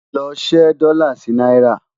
ló ṣé dòla sí náírà